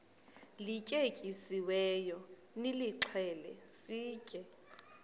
lityetyisiweyo nilixhele sitye